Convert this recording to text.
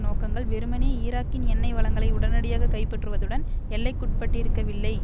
நோக்கங்கள் வெறுமனே ஈராக்கின் எண்ணெய் வளங்களை உடனடியாக கைப்பற்றுவதுடன் எல்லைக்குட்பட்டிருக்கவில்லை